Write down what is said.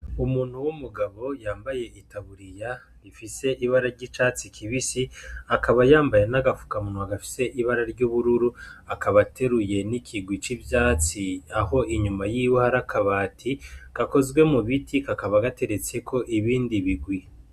Umuntu w'umugabo yambaye itaburiya ifise ibara ry'icatsi kibisi, akaba yambaye n'agafukamunwa gafise ibara ry'ubururu. Akaba ateruye n'ikigwi c'ivyatsi, aho inyuma y'iwe hari akabati gakoze mu biti kakaba gateretseko ibindi bigwi.